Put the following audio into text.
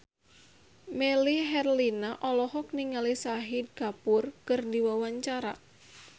Melly Herlina olohok ningali Shahid Kapoor keur diwawancara